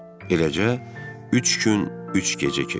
Eləcə üç gün, üç gecə keçdi.